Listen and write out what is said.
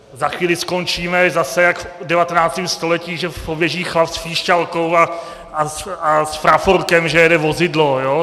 Za chvíli skončíme zase jak v 19. století, že poběží chlap s píšťalkou a s praporkem, že jede vozidlo.